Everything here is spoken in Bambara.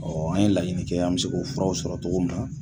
Ɔ an ye laɲini kɛ an bɛ se k'o furaw sɔrɔ cogo min na